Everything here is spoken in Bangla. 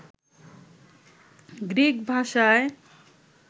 গ্রিক ভাষায়